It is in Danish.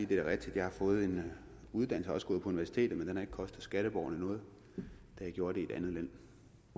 det er rigtigt at jeg har fået en uddannelse gået på universitetet men den har ikke kostet skatteborgerne noget da jeg gjorde det